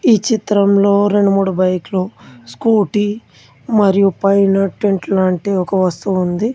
ఈ చిత్రంలో రెండు మూడు బైక్లు స్కూటీ మరియు పైన టెంట్ లాంటి ఒక వస్తువు ఉంది.